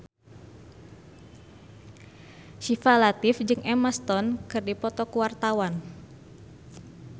Syifa Latief jeung Emma Stone keur dipoto ku wartawan